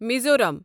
Mizoram